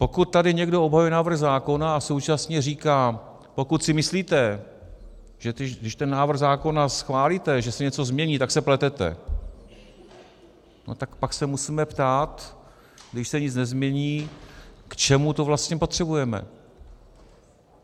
Pokud tady někdo obhajuje návrh zákona a současně říká "pokud si myslíte, že když ten návrh zákona schválíte, že se něco změní, tak se pletete", no tak pak se musíme ptát, když se nic nezmění, k čemu to vlastně potřebujeme.